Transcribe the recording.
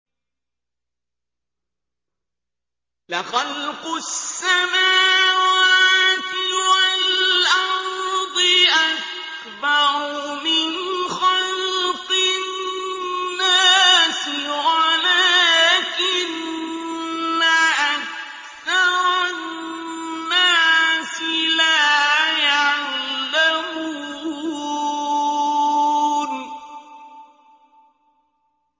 لَخَلْقُ السَّمَاوَاتِ وَالْأَرْضِ أَكْبَرُ مِنْ خَلْقِ النَّاسِ وَلَٰكِنَّ أَكْثَرَ النَّاسِ لَا يَعْلَمُونَ